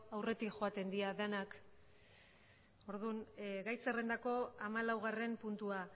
aurretik joaten dira denak orduan gai zerrendako hamalaugarren puntua